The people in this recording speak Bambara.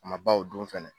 A ma baw don fɛnɛ